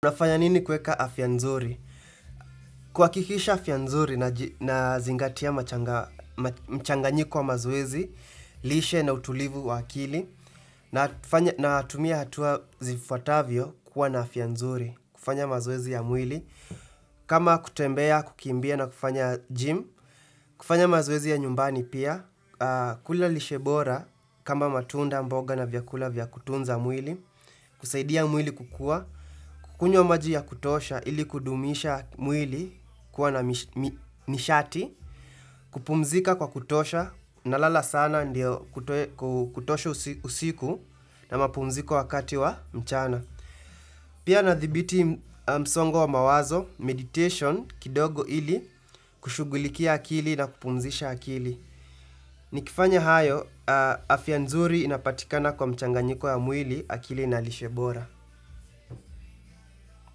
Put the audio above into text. Nafanya nini kueka afya nzuri? Kwa kikisha afya nzuri naji nazingatia mchanganyiko mazoezi, lishe na utulivu wa akili, na tumia hatua zifuatavyo kuwa na afya nzuri, kufanya mazoezi ya mwili. Kama kutembea, kukimbia na kufanya gym, kufanya mazoezi ya nyumbani pia, kula lishe bora kama matunda mboga na vyakula vya kutunza mwili, kusaidia mwili kukua, kukunywa maji ya kutosha ili kudumisha mwili kuwa na mi mi mishati, kupumzika kwa kutosha na lala sana ndiyo kutosha usiku na mapumziko wakati wa mchana. Pia na thibiti msongo wa mawazo, meditation, kidogo ili kushughulikia akili na kupumzisha akili. Nikifanya hayo, afya nzuri inapatikana kwa mchanganyiko ya mwili akili na lishe bora.